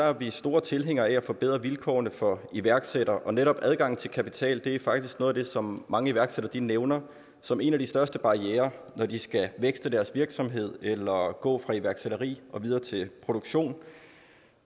er vi store tilhængere af at forbedre vilkårene for iværksættere og netop adgangen til kapital er faktisk noget af det som mange iværksættere nævner som en af de største barrierer når de skal vækste deres virksomhed eller gå fra iværksætteri og videre til produktion